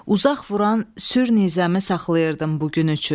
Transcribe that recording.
Uzaq vuran sür nizəmi saxlayırdım bu gün üçün.